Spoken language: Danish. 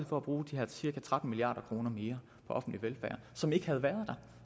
for at bruge de her cirka tretten milliard kroner mere på offentlig velfærd som ikke havde været der